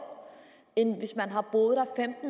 end hvis man har boet her